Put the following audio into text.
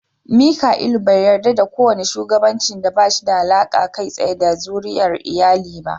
Mika'ilu bai yarda da kowane shugabanci da ba shi da alaƙa kai tsaye da zuriyar iyali ba.